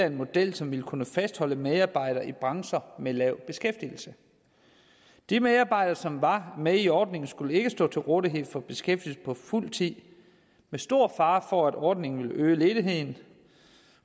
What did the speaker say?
en model som ville kunne fastholde medarbejdere i brancher med lav beskæftigelse de medarbejdere som var med i ordningen skulle ikke stå til rådighed for beskæftigelse på fuld tid med stor fare for at ordningen ville øge ledigheden